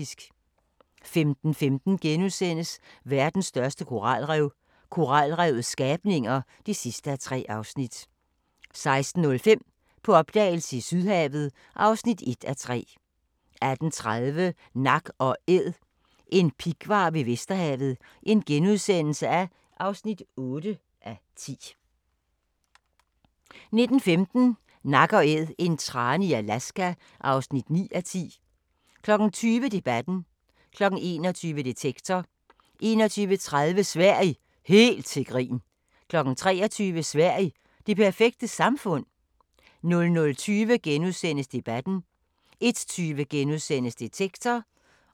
15:15: Verdens største koralrev – koralrevets skabninger (3:3)* 16:05: På opdagelse i Sydhavet (1:3) 18:30: Nak & Æd – en pighvar ved Vesterhavet (8:10)* 19:15: Nak & Æd – en trane i Alaska (9:10) 20:00: Debatten 21:00: Detektor 21:30: Sverige – helt til grin! 23:00: Sverige – det perfekte samfund? 00:20: Debatten * 01:20: Detektor *